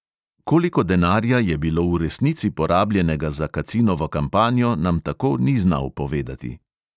Koliko denarja je bilo v resnici porabljenega za kacinovo kampanjo, nam tako ni znal povedati.